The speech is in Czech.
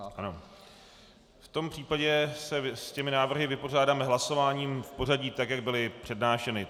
Ano, v tom případě se s těmi návrhy vypořádáme hlasováním v pořadí tak, jak byly přednášeny.